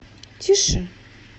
тише